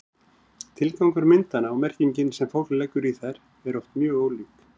tilgangur myndanna og merkingin sem fólk leggur í þær eru oft mjög ólík